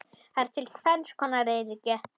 Til eru tvenns konar eyríki